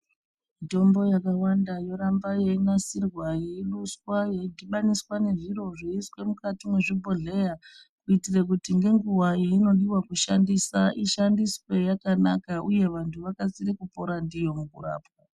Mitombo yakawanda yoramba yeinasirwa yeiduswa yeidhabaniswa nezviro zveiiswa nemukati mwezvibhodhleya kuitira kuti ngenguwa yainoda kushandisa ishandiswe yakanaka. Uye vantu vakasire kupora ndiyo mukurapwa.